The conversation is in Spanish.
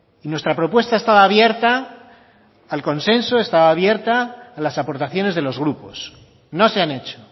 y nuestra propuesta estaba abierta al consenso estaba abierta a las aportaciones de los grupos no se han hecho